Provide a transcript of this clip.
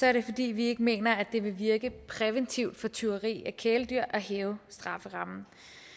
er det fordi vi ikke mener at det vil virke præventivt for tyveri af kæledyr at hæve strafferammen